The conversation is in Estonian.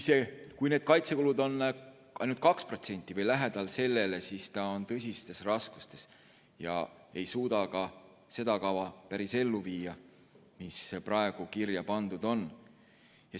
Kui kaitsekulud on ainult 2% või sellele lähedal, siis me oleme tõsistes raskustes ja ei suuda ellu viia ka seda kava, mis praegu kirja pandud on.